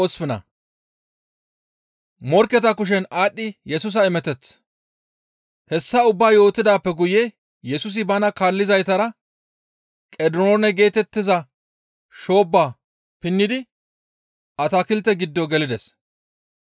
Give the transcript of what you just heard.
Hessa ubbaa yootidaappe guye Yesusi bana kaallizaytara Qediroone geetettiza shoobba pinnidi atakilte giddo gelides.